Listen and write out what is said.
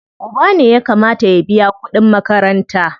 Uba ne ya kamata ya biya kuɗin makaranta.